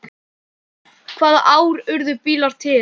Hvaða ár urðu bílar til?